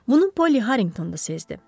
Bunu Poli Harringtonda sezdi.